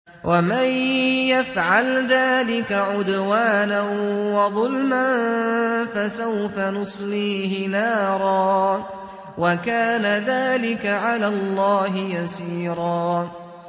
وَمَن يَفْعَلْ ذَٰلِكَ عُدْوَانًا وَظُلْمًا فَسَوْفَ نُصْلِيهِ نَارًا ۚ وَكَانَ ذَٰلِكَ عَلَى اللَّهِ يَسِيرًا